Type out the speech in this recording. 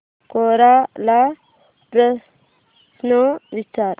कोरा ला प्रश्न विचार